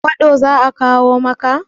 fursalk za a kawo maka?